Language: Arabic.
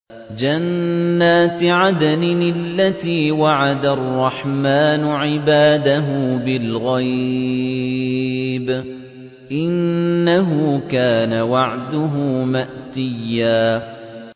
جَنَّاتِ عَدْنٍ الَّتِي وَعَدَ الرَّحْمَٰنُ عِبَادَهُ بِالْغَيْبِ ۚ إِنَّهُ كَانَ وَعْدُهُ مَأْتِيًّا